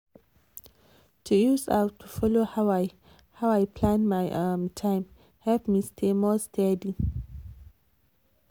to use app to follow how i how i plan my um time help me stay more steady.